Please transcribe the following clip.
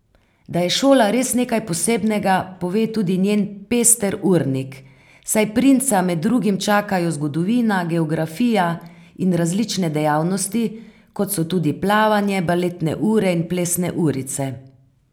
Da je šola res nekaj posebnega, pove tudi njen pester urnik, saj princa med drugim čakajo zgodovina, geografija in različne dejavnosti, kot so tudi plavanje, baletne ure in plesne urice.